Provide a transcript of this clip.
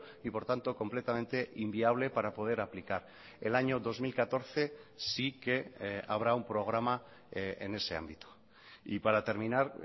y por tanto completamente inviable para poder aplicar el año dos mil catorce sí que habrá un programa en ese ámbito y para terminar